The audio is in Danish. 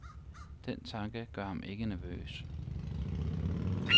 Den tanke gør ham ikke nervøs.